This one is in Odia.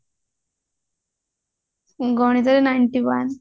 ଗଣିତ ରେ ninety one